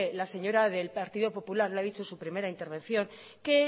la señora del partido popular ha dicho en su primera intervención que